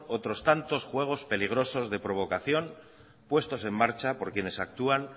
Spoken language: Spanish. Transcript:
otros tantos juegos peligrosos de provocación puestos en marcha por quienes actúan